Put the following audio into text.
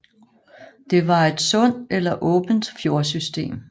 Det var et sund eller åbent fjordsystem